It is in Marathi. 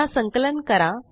पुनः संकलन करा